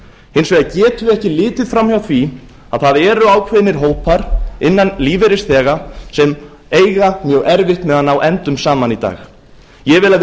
hins vegar getum við ekki litið fram hjá því að ákveðnir hópar meðal lífeyrisþegar eiga mjög erfitt með að ná endum saman í dag ég vil að við